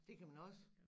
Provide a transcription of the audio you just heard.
Det kan man også